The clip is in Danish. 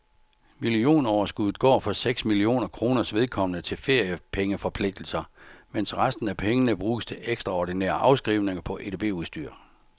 Millionoverskuddet går for seks millioner kroners vedkommende til feriepengeforpligtelser, mens resten af pengene bruges til ekstraordinære afskrivninger på edbudstyr.